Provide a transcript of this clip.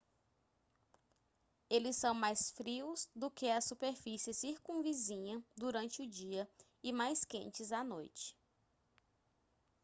eles são mais frios do que a superfície circunvizinha durante o dia e mais quentes à noite